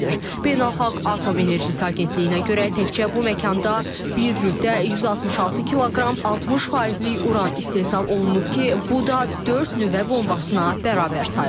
Beynəlxalq Atom Enerjisi Agentliyinə görə, təkcə bu məkanda bir rübdə 166 kiloqram 60 faizlik Uran istehsal olunub ki, bu da dörd nüvə bombasına bərabər sayılır.